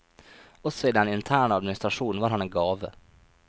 Også i den interne administrasjon var han en gave.